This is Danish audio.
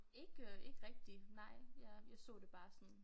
Ikke ikke rigtig nej jeg jeg så det bare sådan